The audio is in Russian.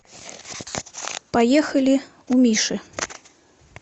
поехали у миши